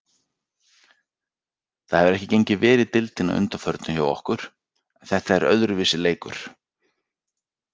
Það hefur ekki gengið vel í deildinni að undanförnu hjá okkur.en þetta er öðruvísi leikur.